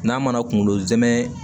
N'a mana kunkolo zɛmɛ